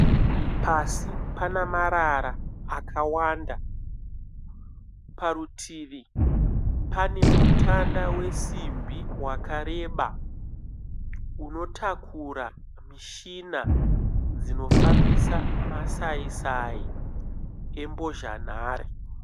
Pasi panamarara akawanda, parutivi pane mutanda wesimbi wakareba unotakura mishina dzinofambisa masai sai embozhanhare,